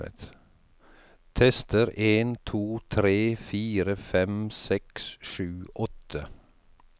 Tester en to tre fire fem seks sju åtte